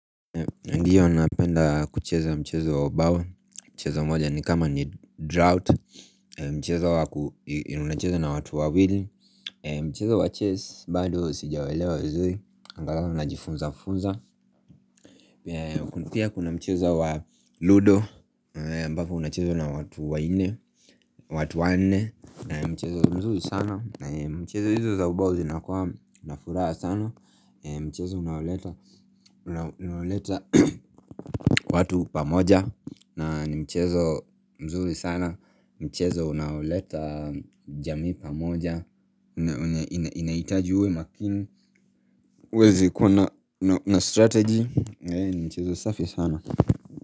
Ndiyo napenda kucheza mchezo wa bao Mchezo mmoja ni kama ni draught Mchezo waku unacheza na watu wawili Mchezo wa chess bado sijauelewa vizuri Angalao najifunza-funza pia kuna mchezo wa ludo ambavyo unachezwa na watu wa nne watu wa nne Mchezo mzuri sana Mchezo hizo za ubao zinakuwa nafuraha sana Mchezo unaoleta unaoleta watu pamoja nani mchezo mzuri sana Mchezo unaoleta jamii pamoja inahitaji uwe makini uweze kuwa na strategy Mchezo safi sana.